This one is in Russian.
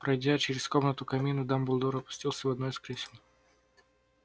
пройдя через комнату к камину дамблдор опустился в одно из кресел